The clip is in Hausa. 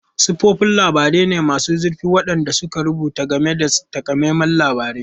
Siffofin labarai ne masu zurfi waɗanda suka rubuta game da takamaiman labarai.